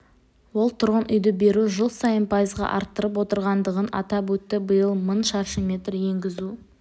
ол тұрғын үйді беру жыл сайын пайызға артып отырғандығын атап өтті биыл мың шаршы метр енгізу